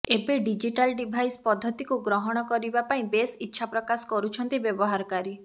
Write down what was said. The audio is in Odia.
ଏବେ ଡିଜିଟାଲ ଡିଭାଇସ ପଦ୍ଧତିକୁ ଗ୍ରହଣ କରିବା ପାଇଁ ବେଶ ଇଚ୍ଛା ପ୍ରକାଶ କରୁଛନ୍ତି ବ୍ୟବହାରକାରୀ